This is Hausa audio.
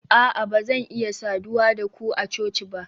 a'a ba zan iya saduwa da ku a coci ba